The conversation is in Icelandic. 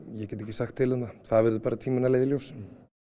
ég get ekki sagt til um það það verður bara tíminn að leiða í ljós